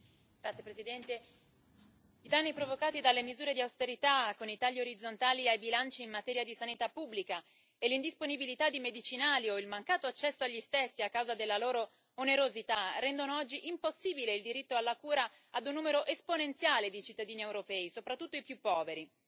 Signora Presidente, onorevoli colleghi, i danni provocati dalle misure di austerità, con i tagli orizzontali ai bilanci in materia di sanità pubblica e l'indisponibilità di medicinali o il mancato accesso agli stessi a causa della loro onerosità rendono oggi impossibile il diritto alla cura ad un numero esponenziale di cittadini europei, soprattutto i più poveri.